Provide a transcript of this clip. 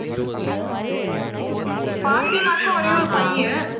பாத்திமாவுக்கு ஒரே ஒரு பையன்